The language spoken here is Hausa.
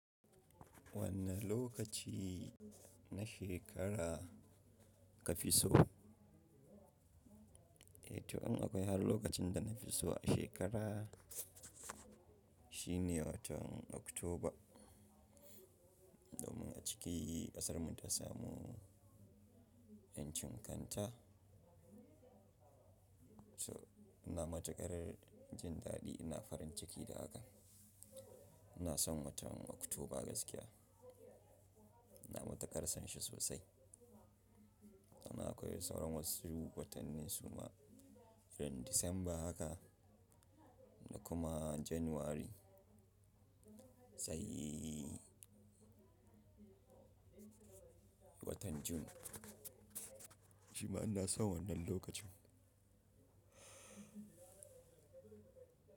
Wanne lokaci na shekara ka fi so? Eh to, in akwai har lokacin da na ke so a shekara shine watan Oktoba. Domin a ciki ƙasarmu ta samu 'yancin kanta. So ina matuƙar jin daɗi, ina farin ciki da hakan. Ina son watan Oktoba gaskiya. Ina mata karsan shi sosai. Amma, akwai sauran wasu watanni su ma, kamar Disamba haka da kuma Janairu. Saiii watan Jun. Shima ina son wannan lokacin.